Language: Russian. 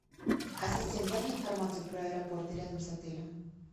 ассистент дай мне информацию про аэропорты рядом с отелем